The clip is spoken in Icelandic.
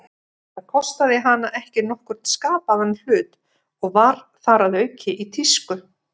Það kostaði hana ekki nokkurn skapaðan hlut, og var þar að auki í tísku.